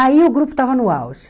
Aí o grupo estava no auge.